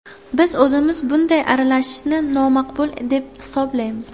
Biz o‘zimiz bunday aralashishni nomaqbul deb hisoblaymiz.